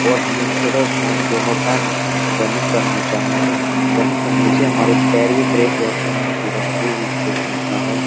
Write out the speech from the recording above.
और हमें सुबह शाम दोनों टाइम रनिंग करनी चाहिए। रनिंग करने से हमारे पैर भी फ्रेश रहती है और पूरा शरीर भी फ्रेश रहता है।